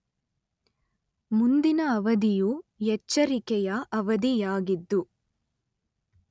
ಮುಂದಿನ ಅವಧಿಯು ಎಚ್ಚರಿಕೆಯ ಅವಧಿ ಯಾಗಿದ್ದು